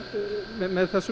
með þessum